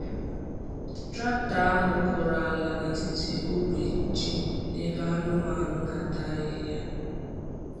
Traktọ ahụ kụrụ ala n’etiti ogbe ji na ebe anụmanụ na-ata ahịhịa.